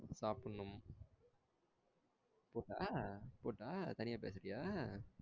சாப்டனும். போட்டா போட்டா தனியா பேசுறியா?